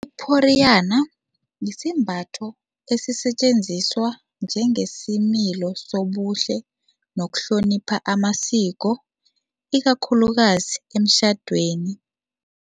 Iporiyana yisembatho esisetjenziswa njengesimilo sobuhle nokuhlonipha amasiko ikakhulukazi emtjhadweni.